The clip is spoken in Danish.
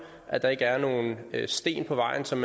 at der ikke er nogen sten på vejen som